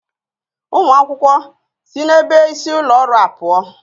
Students, move away from the administrative block